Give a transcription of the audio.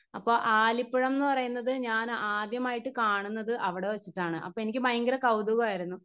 Speaker 1 അപ്പൊ ആലിപ്പഴംന്ന് പറയുന്നത് ഞാൻ ആദ്യമായിട്ട് കാണുന്നത് അവിടെവെച്ചിട്ടാണ് അപ്പൊ എനിക്ക് ഭയങ്കര കൗതുകായിരുന്നു.